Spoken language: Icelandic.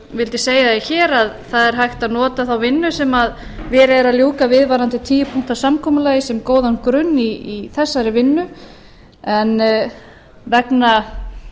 vildi segja það hér að það er hægt að nota þá vinnu sem verið er að ljúka við varðandi tíu punkta samkomulagið sem góðan grunn í þessari vinnu en vegna